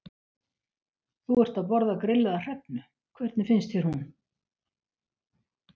Þú ert að borða grillaða hrefnu, hvernig finnst þér hún?